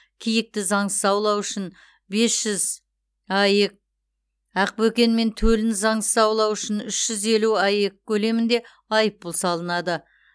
киікті заңсыз аулау үшін бес жүз аек ақбөкен мен төлін заңсыз аулау үшін үш жүз елу аек көлемінде айыппұл салынады